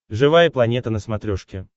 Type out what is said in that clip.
живая планета на смотрешке